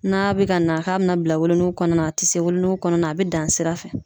N'a bɛ ka na k'a bɛna bila wolonugu kɔnɔna na a tɛ se wolonugu kɔnɔna na a bɛ dan sira fɛ.